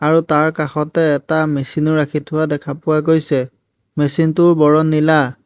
তাৰ কাষতে এটা মেচিন ও ৰাখি থোৱা দেখা পোৱা গৈছে মেচিন টোৰ বৰণ নীলা।